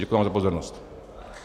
Děkuji vám za pozornost.